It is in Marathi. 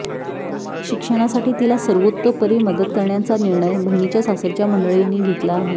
शिक्षणांसाठी तिला सर्वोतोपरी मदत करण्याच्या निर्णय बहिणीच्या सासरच्या मंडळींनी घेतला आहे